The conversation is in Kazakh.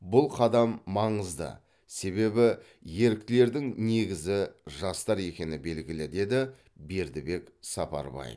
бұл қадам маңызды себебі еріктілердің негізі жастар екені белгілі деді бердібек сапарбаев